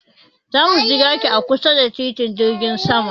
Za mu jiraki a kusa da titin jirgin sama.